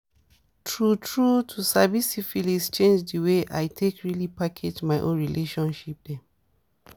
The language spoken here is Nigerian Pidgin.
true true to sabi syphilis change the way i take really package my own relationship dem